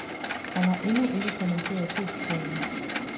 Han har ikke endnu ikke kommenteret købsplanen.